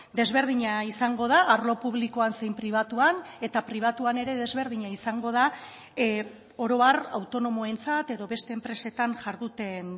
desberdina izango da arlo publikoan zein pribatuan eta pribatuan ere desberdina izango da orohar autonomoentzat edo beste enpresetan jarduten